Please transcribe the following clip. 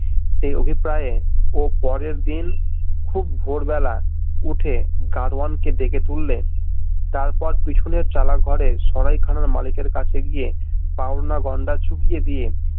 সেই অভিপ্রায়ে ও পরেরদিন খুব ভোরবেলা উঠে গারোয়ান কে ডেকে তুললে তারপর পিছনের চালা ঘরে সরাইখানার মালিকের কাছে গিয়ে পাওনা গণ্ডা চুকিয়ে দিয়ে